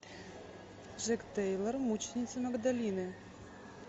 джек тейлор мученицы магдалины